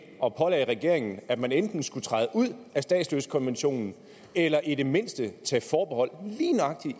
og pålagde regeringen at man enten skulle træde ud af statsløsekonventionen eller i det mindste tage forbehold